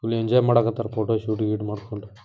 ಇಲ್ಲಿ ಎಂಜಾಯ್ ಮಾಡಾಕತಾರ ಫೋಟೋಶೂಟ್ ಗೀಟ್ ಮಾಡ್ಕೊಂಡು